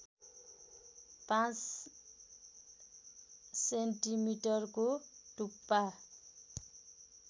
५ सेन्टिमिटरको टुप्पा